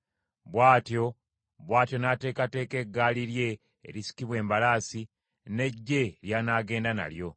Bw’atyo n’ateekateeka eggaali lye erisikibwa embalaasi, n’eggye ly’anaagenda nalyo.